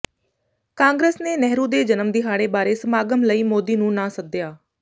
ਕਾਂਗਰਸ ਨੇ ਨਹਿਰੂ ਦੇ ਜਨਮ ਦਿਹਾੜੇ ਬਾਰੇ ਸਮਾਗਮ ਲਈ ਮੋਦੀ ਨੂੰ ਨਾ ਸੱਦਿਆ